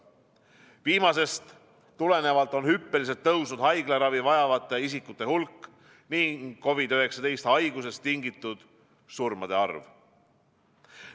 Viimasest tulenevalt on hüppeliselt tõusnud haiglaravi vajavate isikute hulk ning COVID-19 haigusest tingitud surmade arv.